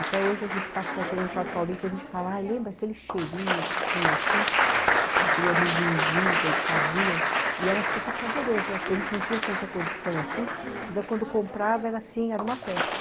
Até hoje a gente passa, chegando no shopping paulista, a gente fala, ai lembra aquele cheirinho que tinha aqui, daquele amendoizinho que eles faziam, e era super saboroso, acho que a gente não tinha tanta condição assim, uhum, então quando comprava era assim, era uma festa.